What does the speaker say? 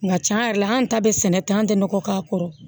Nka tiɲɛ yɛrɛ la an ta bɛ sɛnɛ ten an tɛ nɔgɔ k'a kɔrɔ